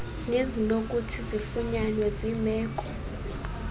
nezinokuthi zifunyanwe zimeko